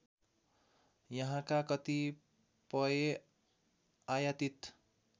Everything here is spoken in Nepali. यहाँका कतिपय आयातित